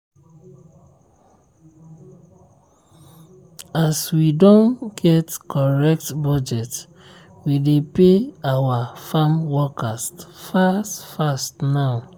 as we don get correct budget we dey pay our farmworkers fast fast now.